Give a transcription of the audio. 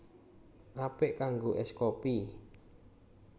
Apik kanggo ès kopi